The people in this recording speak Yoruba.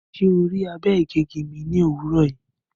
Ṣe o rii abe-igegi mi ni owurọ yii?